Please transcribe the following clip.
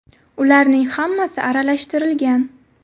Ularning hammasi aralashtirilgan.